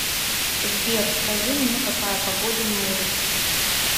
сбер скажи мне какая погода на улице